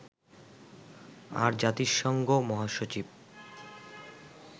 আর জাতিসংঘ মহাসচিব